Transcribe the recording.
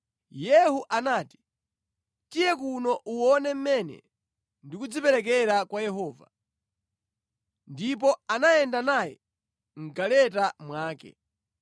Yehu anati, “Tiye kuno uwone mmene ndikudziperekera kwa Yehova.” Ndipo anayenda naye mʼgaleta mwake.